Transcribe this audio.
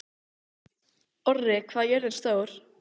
Orri, hvað er jörðin stór?